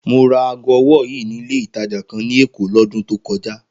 Mo ra aago ọwọ́ yìí nílé ìtajà kan ní Èkó lọ́dún tó kọjá